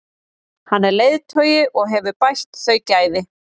Hann er leiðtogi og hefur bætt þau gæði.